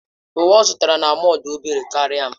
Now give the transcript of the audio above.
Uwe ọ zụtara na mọll dị obere karịa m.